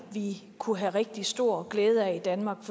at vi kunne have rigtig stor glæde af i danmark